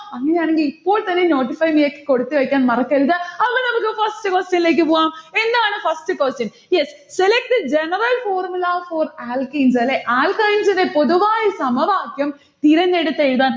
അങ്ങനെയാണെങ്കിൽ ഇപ്പോൾത്തന്നെ notify me യിലേക്ക് കൊടുത്തുവെക്കാൻ മറക്കരുത്. അപ്പൊ നമ്മക്ക് first question ഇലേക്ക് പോകാം. എന്താണ് first question? yes. select the general formula for alkenes അല്ലെ alkynes ന്റെ പൊതുവായ സമവാക്ക്യം തിരഞ്ഞെടുത്തെഴുതാൻ.